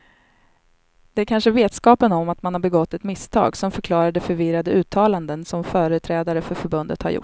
Det kanske är vetskapen om att man har begått ett misstag som förklarar de förvirrade uttalanden som företrädare för förbundet har gjort.